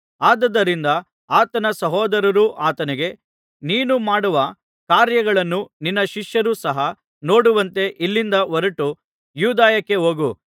ಆದುದರಿಂದ ಆತನ ಸಹೋದರರು ಆತನಿಗೆ ನೀನು ಮಾಡುವ ಕಾರ್ಯಗಳನ್ನು ನಿನ್ನ ಶಿಷ್ಯರೂ ಸಹ ನೋಡುವಂತೆ ಇಲ್ಲಿಂದ ಹೊರಟು ಯೂದಾಯಕ್ಕೆ ಹೋಗು